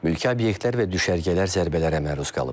Mülki obyektlər və düşərgələr zərbələrə məruz qalıb.